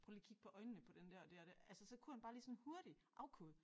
Prøv lige at kigge på øjnene på den der og det og det altså så kunne han bare lige sådan hurtigt afkode